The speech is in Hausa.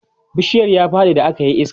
bishiyar ya Faɗi da akayi iska